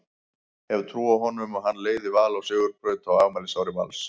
Hef trú á honum og hann leiði Val á sigurbraut á afmælisári Vals.